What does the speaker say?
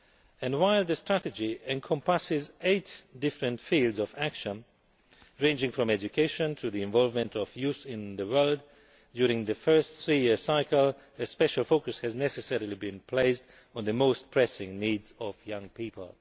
And while the strategy encompasses eight different fields of action, ranging from education to the involvement of youth in the world, during its first three year cycle a special focus has necessarily been placed on the most pressing needs of young people.